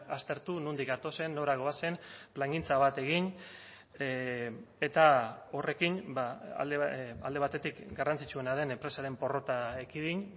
aztertu nondik gatozen nora goazen plangintza bat egin eta horrekin alde batetik garrantzitsuena den enpresaren porrota ekidin